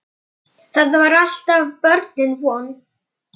Drengur var viti sínu fjær.